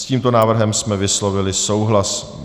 S tímto návrhem jsme vyslovili souhlas.